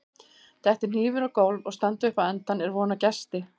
Detti hnífur á gólf og standi upp á endann er von á gesti.